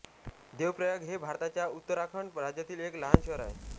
देवप्रयाग हे भारताच्या उत्तराखंड राज्यातील एक लहान शहर आहे